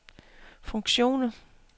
funktioner